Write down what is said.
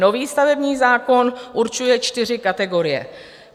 Nový stavební zákon určuje čtyři kategorie.